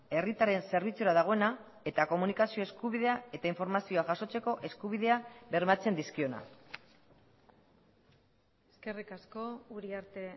herritarren zerbitzura dagoena eta komunikazio eskubidea eta informazioa jasotzeko eskubidea bermatzen dizkiona eskerrik asko uriarte